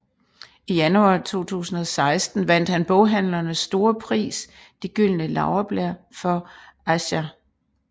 I januar 2016 vandt han boghandlernes store pris De gyldne laurbær for Aisha